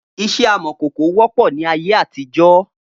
Iṣẹ́ amòkòkò wọ́pọ̀ ni ayé àtijó